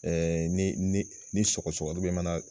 ni ni sɔgɔsɔgɔ mana